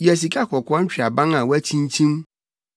Yɛ sikakɔkɔɔ ntweaban a wɔakyinkyim